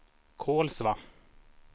Kolsva